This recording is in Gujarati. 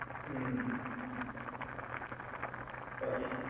હુંમ. પછી,